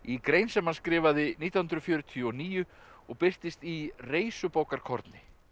grein sem hann skrifaði nítján hundruð fjörutíu og níu og birtist í